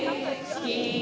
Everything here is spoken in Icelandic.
í